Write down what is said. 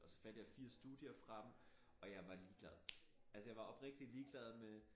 Og så fandt jeg 4 studier frem og jeg var ligeglad altså jeg var oprigtigt ligeglad med